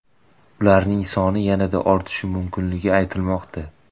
Ularning soni yanada ortishi mumkinligi aytilmoqda.